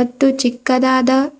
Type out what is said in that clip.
ಮತ್ತು ಚಿಕ್ಕದಾದ.